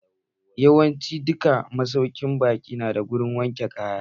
Yawancin duka masaukin baƙi nada wurin wankin kaya.